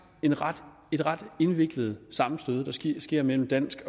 et ret et ret indviklet sammenstød der sker sker mellem dansk